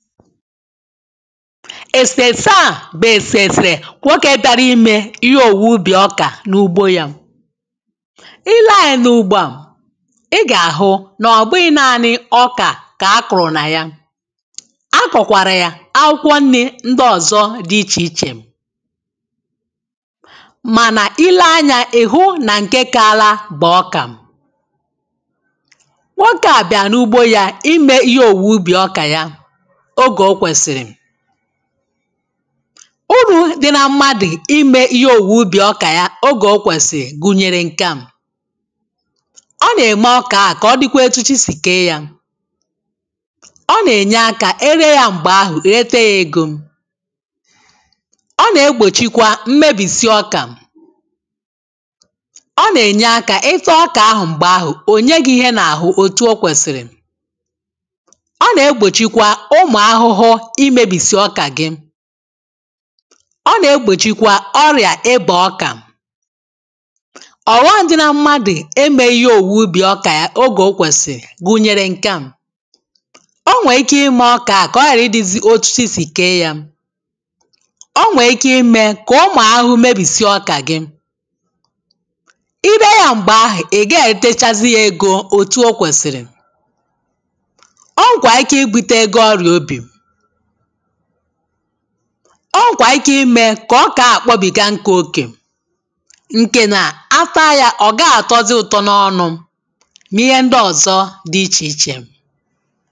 èsèse à bụ̀ èsèsè nwokē bịara imē ihe òwu ubì ọkà n’ugbo yā i lee anyā n’ugbo à ị gà-àhụ nà ọ̀ bụghị̄ naānị̄ ọkà kà ha kụ̀rụ̀ nà ya a kọ̀kwàrà yà akwụkwọ nnī ndị ọ̀zọ dị̄ ichè ichè mànà i lee anyā ị̀ hụ nà ǹke kaala bụ̀ ọkà nwokē à bịàrà n’ugbo yā imē ihe òwu ubì ọkà ya ogè o kwèsìrì urū dị̀ nà mmadụ̀ imē ihe òwu ubì ọkà ya ogè o kwèsìrì gùnyèrè ǹke à ọ nà-ème ọkà ahụ̀ kà ọ dịkwa etu chi sì kèe yā ọ nà-ènye akā e ree yā m̀gbè ahụ̀ rete yā ēgò ọ nà-egbòchikwa mmebìsi ọkà ọ nà-ènye akā ị taa ọkà ahụ̀ m̀gbè ahụ̀ ò nye gị̄ ihe n’ahụ̀ òtù o kwèsìrì ọ nà-egbòchikwa ụmụ̀ ahụhụ imēbìsì ọkà gị ọ nà-egbòchikwa ọrịà ịbà ọkà ọ̀ghọm̀ dị na mmadụ̀ emēghī ihe òwu ubì ọkà ya ogè o kwèsìrì gùnyèrè ǹke à o nwèrè ike imē ọkà ahụ̀ kà ọ ghàra ịdị̄sị̄ otu chi sì kèe yā o nwèrè ike imē kà ụmụ̀ ahụhụ mebìsi ọkà gị i ree yā m̀gbè ahụ̀ ị̀ gaghị̄ ètechazị yā egō òtù o kwèsìrì o nwèkwàrà ibūtē gị̄ ọrịà ubì o nwèkwàrà ike imē kà ọkà ahụ̀ kpọbìga nkụ̄ okè ǹkè nà a taa yā ọ̀ gaghị̄ àtọzị ụ̀tọ n’ọnụ̄ mà ihe ndị ọ̀zọ dị̄ ichè ichè